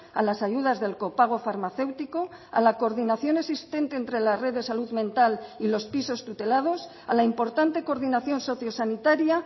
a las ayudas del copago farmacéutico a la coordinación existente entre la red de salud mental y los pisos tutelados a la importante coordinación socio sanitaria